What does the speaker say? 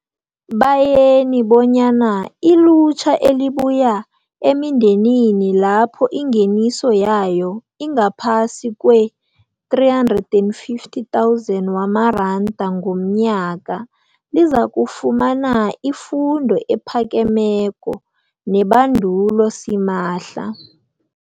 bayeni bonyana ilutjha elibuya emindenini lapho ingeniso yayo ingaphasi kwee-350 000 wamaranda ngomnyaka lizakufumana ifundo ephakemeko nebandulo simahla.